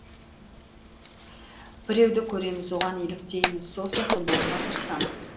біреуді көреміз оған еліктейміз сол сияқты болуға тырысамыз